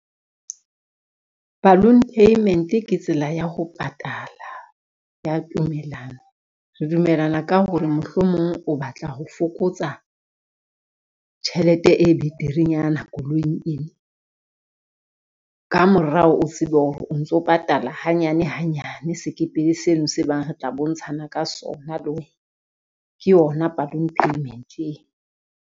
Balloon payment ke tsela ya ho patala ya tumellano. Re dumellana ka ho re mohlomong o batla ho fokotsa tjhelete e beterenyana koloing ena, ka morao o tsebe o ntso patala hanyane hanyane sekepele seno se bang re tla bontshana ka sona le wena. Ke yona balloon payment e.